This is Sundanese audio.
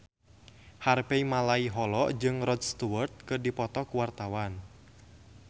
Harvey Malaiholo jeung Rod Stewart keur dipoto ku wartawan